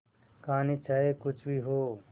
कहानी चाहे कुछ भी हो